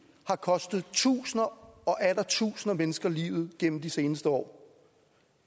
har kostet tusinder og atter tusinder af mennesker livet gennem de seneste år